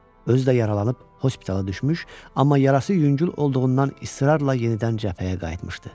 Özü də yaralanıb hospitala düşmüş, amma yarası yüngül olduğundan israrla yenidən cəbhəyə qayıtmışdı.